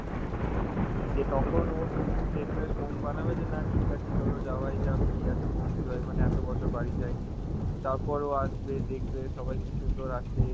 হম দিয়ে তখন ও শেষ মেস মন বানাবে যে না চলো যাওয়াই যাক কি আছে বন্ধু হয় মানে এত বছর বাড়ি যায়নি, তারপর ও আসবে, দেখবে সবাইকে সুন্দর আছে